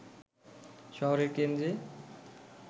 শহরের কেন্দ্রে